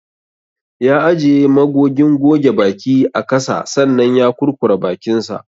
Ya ajiye magogin goge baki a kasa sannan ya kurkura bakinsa.